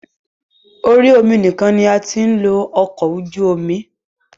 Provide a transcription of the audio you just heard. Orí omi nìkan la ti ń lo ọkọ̀ ojú omi.